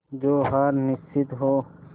जो हार निश्चित हो